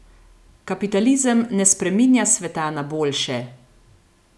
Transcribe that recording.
Kapitalizem ne spreminja sveta na boljše!